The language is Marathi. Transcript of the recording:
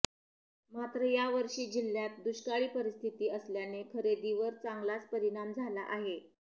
मात्र यावर्षी जिल्ह्यात दुष्काळी परिस्थिती असल्याने खरेदीवर चांगलाच परिणाम झाला आहे